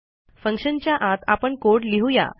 फंक्शनच्या आत आपण कोड लिहू या